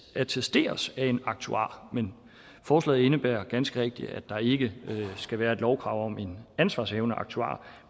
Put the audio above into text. attesteres af en aktuar men forslaget indebærer ganske rigtigt at der ikke skal være et lovkrav om en ansvarshavende aktuar